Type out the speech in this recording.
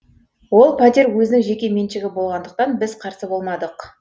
ол пәтер өзінің жеке меншігі болғандықтан біз қарсы болмадық